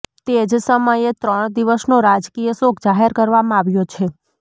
તે જ સમયે ત્રણ દિવસનો રાજકીય શોક જાહેર કરવામાં આવ્યો છે